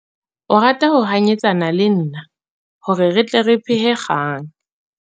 O rata ho hanyetsana le nna hore re tle re phehe kgang.